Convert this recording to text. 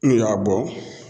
N'u y'a bɔ